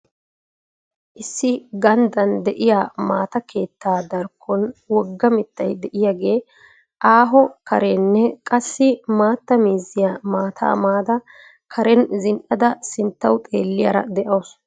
Issi ganddaan de'iyaa maata keettaa darkkon woga mittay de'iyaagee aahoo kareenne qassi maatta mizziya maataa mada karen zin'ada sinttawu xeeliyara dawusu.